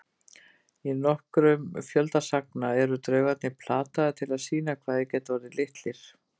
Í nokkrum fjölda sagna eru draugarnir plataðir til að sýna hvað þeir geti orðið litlir.